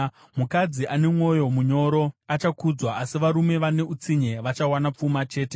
Mukadzi ane mwoyo munyoro achakudzwa, asi varume vane utsinye vachawana pfuma chete.